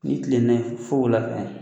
Ni kilenna fo wula fɛ.